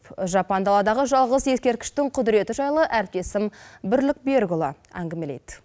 жапан даладағы жалғыз ескерткіштің құдыреті жайлы әріптесім бірлік берікұлы әңгімелейді